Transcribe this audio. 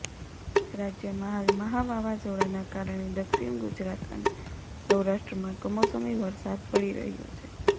રાજ્યમાં હાલ મહા વાવાઝોડાના કારણે દક્ષિણ ગુજરાત અને સૌરાષ્ટ્રમાં કમોસમી વરસાદ પડી રહ્યો છે